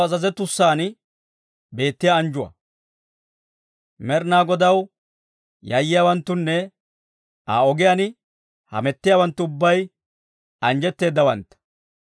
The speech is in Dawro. Med'inaa Godaw yayyiyaawanttunne, Aa ogiyaan hamettiyaawanttu ubbay anjjetteedawantta.